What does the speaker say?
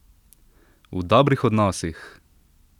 V dobrih odnosih!